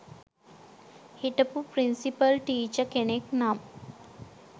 හිටපු principal teacher කෙනෙක් නම්